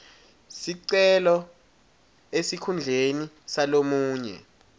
sicelo esikhundleni salomunye